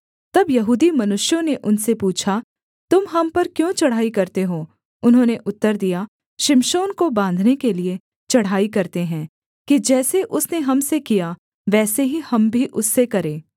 तब यहूदी मनुष्यों ने उनसे पूछा तुम हम पर क्यों चढ़ाई करते हो उन्होंने उत्तर दिया शिमशोन को बाँधने के लिये चढ़ाई करते हैं कि जैसे उसने हम से किया वैसे ही हम भी उससे करें